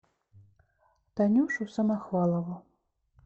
танюшу самохвалову